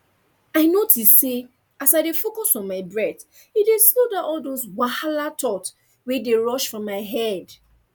i notice say as i dey focus on my breath e dey slow down all those wahala thought wey dey rush for my head